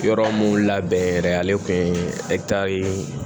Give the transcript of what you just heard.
Yɔrɔ mun labɛn yɛrɛ ale kun ye